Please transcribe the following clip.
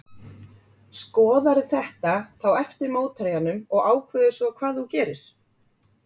Skoðarðu þetta þá eftir mótherjanum og ákveður svo hvað þú gerir?